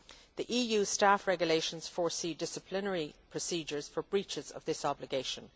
The EU Staff Regulations foresee disciplinary procedures for breaches of this obligation.